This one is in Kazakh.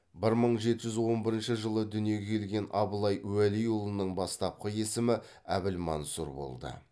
бір мың жеті жүз он бірінші жылы дүниеге келген абылай уәлиұлының бастапқы есімі әбілмансұр болды